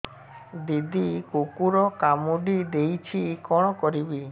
ଦିଦି କୁକୁର କାମୁଡି ଦେଇଛି କଣ କରିବି